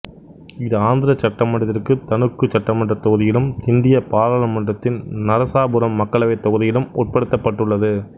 இது ஆந்திர சட்டமன்றத்திற்குத் தணுக்கு சட்டமன்றத் தொகுதியிலும் இந்திய பாராளுமன்றத்திற்கு நரசாபுரம் மக்களவைத் தொகுதியிலும் உட்படுத்தப்பட்டுள்ளது